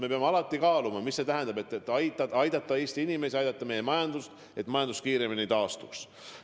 Me peame alati kaaluma, kuidas aidata Eesti inimesi, aidata meie majandust, et see kiiremini taastuks.